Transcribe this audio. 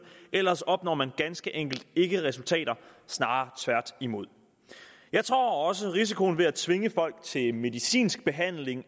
ellers opnår man ganske enkelt ikke resultater snarere tværtimod jeg tror også risikoen ved at tvinge folk til medicinsk behandling